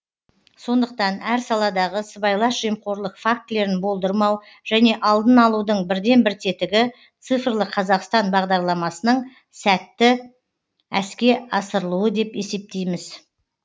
сондықтан әр саладағы сыбайлас жемқорлық фактілерін болдырмау және алдын алудың бірден бір тетігі цифрлы қазақстан бағдарламасының сәтті әске асырылуы деп есептейміз